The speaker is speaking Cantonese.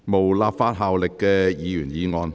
無立法效力的議員議案。